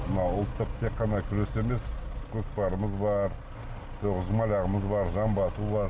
мынау ұлттық тек қана күрес емес көкпарымыз бар тоғызқұмалағымыз бар жамба ату бар